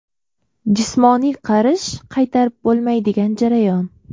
Jismoniy qarish – qaytarib bo‘lmaydigan jarayon.